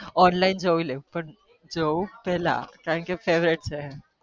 online જોઈએ લઉં પણ જોઉં પેલા કારણ કે favourite છે